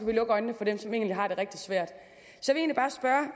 vi lukke øjnene for dem som egentlig har det rigtig svært så